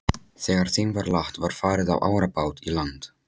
Þegar þeim var lagt var farið á árabát í land.